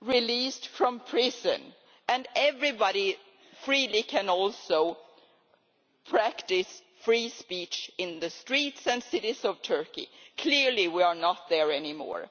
released from prison and everybody freely can also practise free speech in the streets and cities of Turkey. Clearly we are not there any more.